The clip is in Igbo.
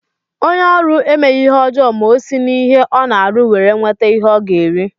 Onye ọrụ emeghi ihe ọjọọ ma o si n'ihe Ọ na-arụ were nweta ihe Ọ ga-eri.